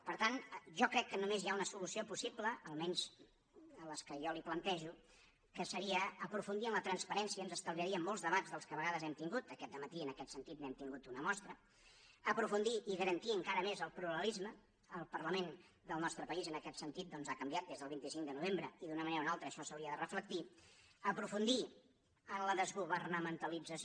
per tant jo crec que només hi ha una solució possible almenys en les que jo li plantejo que seria aprofundir en la transparència ens estalviaríem molts debats dels que de vegades hem tingut aquest dematí en aquest sentit n’hem tingut una mostra aprofundir i garantir encara més el pluralisme el parlament del nostre país en aquest sentit doncs ha canviat des del vint cinc de novembre i d’una manera o una altra això s’hauria de reflectir aprofundir en la desgovernamentalització